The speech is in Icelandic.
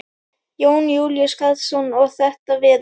Jón Júlíus Karlsson: Og þetta veður?